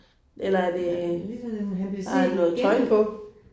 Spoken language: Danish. Det ligner sådan en han bliver set igennem